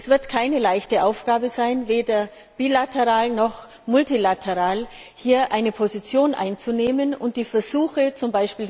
Es wird keine leichte Aufgabe sein, weder bilateral noch multilateral, hier eine Position einzunehmen und die Versuche, z.